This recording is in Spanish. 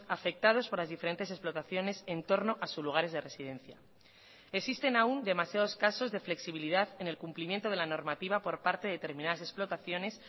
afectados por las diferentes explotaciones en torno a sus lugares de residencia existen aún demasiados casos de flexibilidad en el cumplimiento de la normativa por parte de determinadas explotaciones